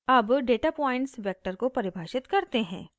अब data points vector को परिभाषित करते हैं